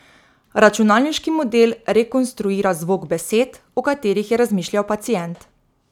Računalniški model rekonstruira zvok besed, o katerih je razmišljal pacient.